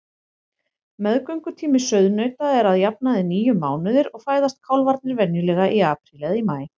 Meðgöngutími sauðnauta er að jafnaði níu mánuðir og fæðast kálfarnir venjulega í apríl eða maí.